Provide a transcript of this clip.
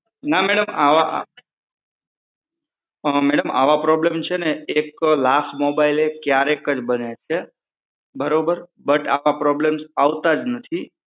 ના મેડમ આવા problem છે ને એક લાખ mobile ક્યારેક જ બને છે બરોબર બટ આવા problem આવતા જ નથી